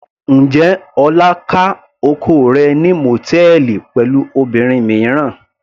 Njẹ́ Ọlá ká oko rẹ̀ ní mòtẹ́ẹ́lì pẹ̀lú obìnrin mìíràn.